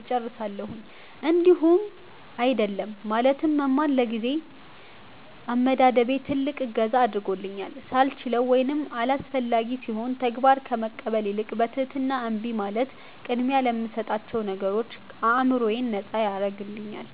እጨርሳለሁኝ። እንዲሁም "አይደለም" ማለትን መማር ለጊዜ አመዳደቤ ትልቅ እገዛ አድርጎልኛል፤ ሳልችለው ወይም አላስፈላጊ ሲሆን ተግባር ከመቀበል ይልቅ በትህትና እምቢ ማለት ቅድሚያ ለምሰጣቸው ነገሮች አዕምሮዬን ነጻ ያደርግልኛል።